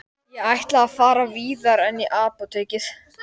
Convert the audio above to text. Ég ætla að fara víðar en í apótekið.